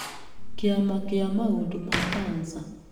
Kĩama kĩa maũndũ ma cancer